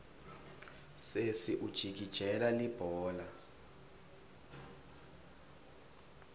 sesi ujikijela libhola